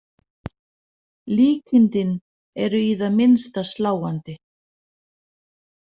Líkindin eru í það minnsta sláandi.